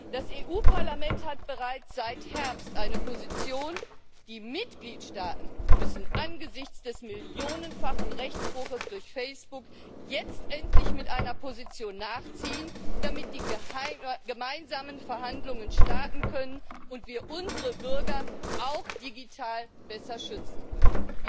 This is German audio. Das Europäische Parlament hat bereits seit Herbst eine Position. Die Mitgliedstaaten müssen angesichts des millionenfachen Rechtsbruchs durch Facebook jetzt endlich mit einer Position nachziehen, damit die gemeinsamen Verhandlungen starten können und wir unsere Bürger auch digital besser schützen können.